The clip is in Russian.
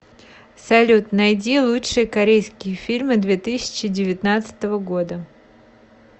салют найди лучшие корейские фильмы две тысячи девятнадцатого года